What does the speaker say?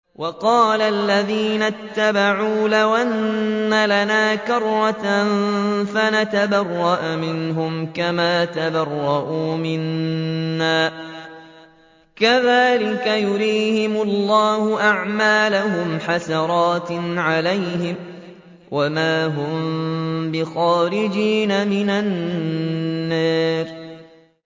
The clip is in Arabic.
وَقَالَ الَّذِينَ اتَّبَعُوا لَوْ أَنَّ لَنَا كَرَّةً فَنَتَبَرَّأَ مِنْهُمْ كَمَا تَبَرَّءُوا مِنَّا ۗ كَذَٰلِكَ يُرِيهِمُ اللَّهُ أَعْمَالَهُمْ حَسَرَاتٍ عَلَيْهِمْ ۖ وَمَا هُم بِخَارِجِينَ مِنَ النَّارِ